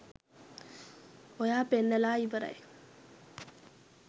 ඔයා පෙන්නලා ඉවරයි.